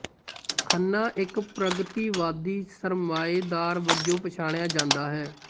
ਖੰਨਾ ਇੱਕ ਪ੍ਰਗਤੀਵਾਦੀ ਸਰਮਾਏਦਾਰ ਵਜੋਂ ਪਛਾਣਿਆ ਜਾਂਦਾ ਹੈ